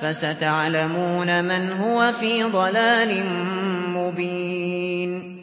فَسَتَعْلَمُونَ مَنْ هُوَ فِي ضَلَالٍ مُّبِينٍ